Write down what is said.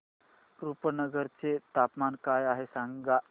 रुपनगर चे तापमान काय आहे सांगा